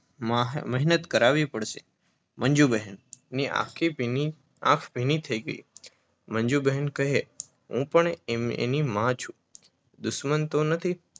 મેહનત કરાવી પડશે. મંજુબહેનની આંખ ભીની થઈ ગઈ. મંજુબહેન કહે હું પણ એની માં છું દુશ્મન તો નથી